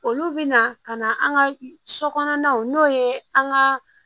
Olu bɛ na ka na an ka so kɔnɔnaw n'o ye an ka